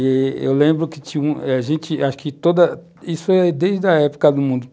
E eu lembro que tinha um... A gente... Acho que toda... Isso é desde a época do mundo.